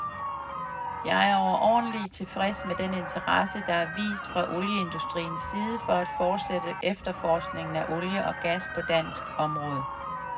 Jeg er overordentlige tilfreds med den interesse, der er vist fra olieindustriens side for at forsætte efterforskningen af olie og gas på dansk område.